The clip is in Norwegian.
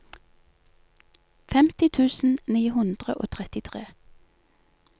femti tusen ni hundre og trettitre